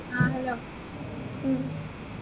ആഹ് hello ഉം